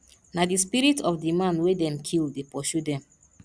na di spirit of di man wey dem kill dey pursue dem